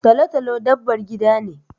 Talo-talo dabbar gida ne.